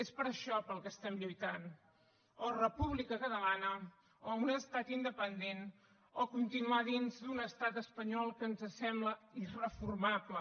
és per això pel que estem lluitant o república catalana o un estat independent o continuar dins d’un estat espanyol que ens sembla irreformable